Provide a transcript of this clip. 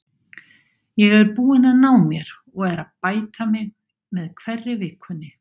Ég er búinn að ná mér og er að bæta mig með hverri vikunni.